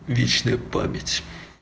вечная память